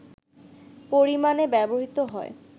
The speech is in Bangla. পরিমাণে ব্যবহৃত হয়